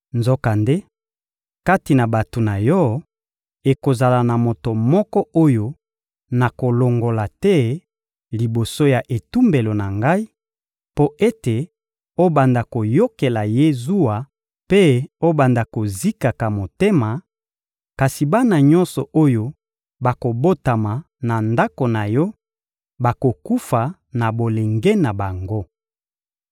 Nzokande, kati na bato na yo, ekozala na moto moko oyo nakolongola te liboso ya etumbelo na Ngai, mpo ete obanda koyokelaka ye zuwa mpe obanda kozikaka motema; kasi bana nyonso oyo bakobotama na ndako na yo bakokufa na bolenge na bango.